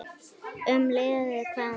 Um liðið: Hvað næst?